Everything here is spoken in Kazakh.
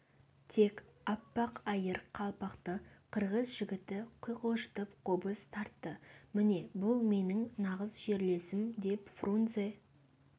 тек аппақ айыр қалпақты қырғыз жігіті құйқылжытып қобыз тартты міне бұл менің нағыз жерлесім деп фрунзе